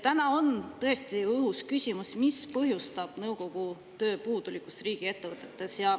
Täna on tõesti õhus küsimus, mis põhjustab nõukogu töö puudulikkust riigiettevõtetes.